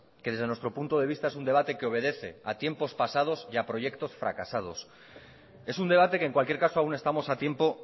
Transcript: que desde nuestro punto de vista es un debate que obedece a tiempos pasados y a proyectos fracasados es un debate que en cualquier caso aún estamos a tiempo